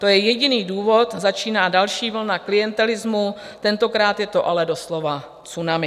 To je jediný důvod, začíná další vlna klientelismu, tentokrát je to ale doslova tsunami."